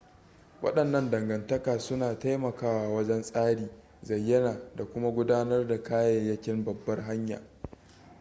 wadannan dangantaka suna taimakawa wajen tsari zayyana da kuma gudanar da kayayyakin babbar hanya